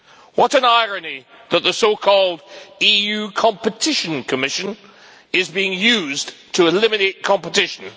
What an irony that the so called EU Competition Commission is being used to eliminate competition.